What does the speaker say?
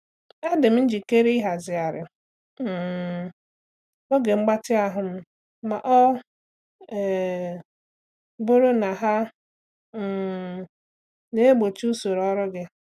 Adị m njikere ịhazigharị um oge mgbatị ahụ m ma ọ um bụrụ na ha um na-egbochi usoro ọrụ gị.